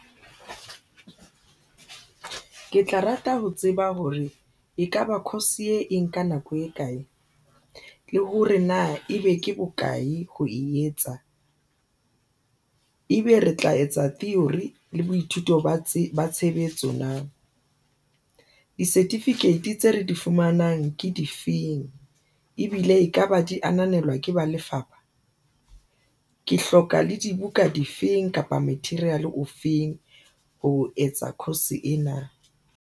Ke tla rata ho tseba hore ekaba course e enka nako e kae le hore na ebe ke bokae ho e etsa ebe re tla etsa theory le boithuto ba tshebetso na di-certificate tse re di fumanang ke difeng ebile ekaba di ananelwa ke ba lefapha, ke hloka le dibuka di feng kapa material ofeng ho etsa course ena na?